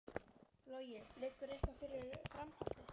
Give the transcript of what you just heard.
Logi: Liggur eitthvað fyrir um framhaldið?